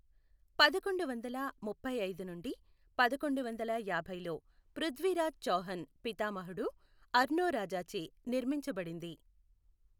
పదకొండు వందల ముప్పై ఐదు నుండి పదకొండు వందల యాభైలో పృథ్వీరాజ్ చౌహాన్ పితామహుడు అర్నోరాజాచే నిర్మించబడింది.